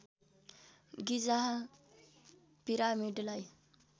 गिजा पिरामिडलाई